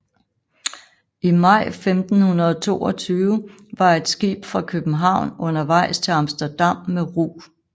I maj 1522 var et skib fra København undervejs til Amsterdam med rug